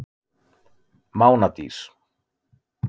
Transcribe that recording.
Mánadís